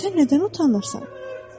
Sən nədən utanırsan?